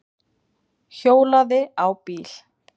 Hjólaði á bíl